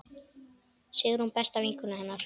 Sigrún besta vinkona hennar.